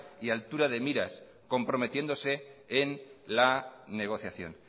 y altura de miras comprometiéndose en la negociación